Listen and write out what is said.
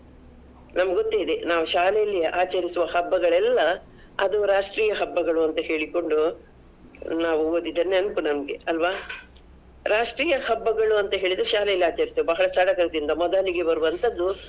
ನಮ್ಗೊತ್ತೇ ಇದೆ, ನಾವು ಶಾಲೆಯಲ್ಲಿ ಆಚರಿಸುವ ಹಬ್ಬಗಳೆಲ್ಲಾ ಅದು ರಾಷ್ಟ್ರೀಯ ಹಬ್ಬಗಳು ಅಂತ ಹೇಳಿಕೊಂಡು, ನಾವು ಓದಿದ ನೆನ್ಪು ನಮ್ಗೆ ಅಲ್ವಾ? ರಾಷ್ಟ್ರೀಯ ಹಬ್ಬಗಳು ಅಂತ ಹೇಳಿದ್ರೆ ಶಾಲೆಯಲ್ಲಿ ಆಚರಿಸ್ತೆವೆ ಬಹಳ ಸಡಗರದಿಂದ, ಮೊದಲಿಗೆ ಬರುವಂತದ್ದು.